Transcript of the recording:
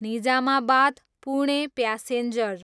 Nizamabad, Pune passenger